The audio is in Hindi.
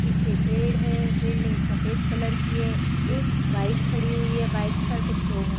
पीछे पेड़ है। बिल्डिंग सफेद कलर की है। एक बाइक खड़ी हुई है बाइक पर कुछ लोग है ।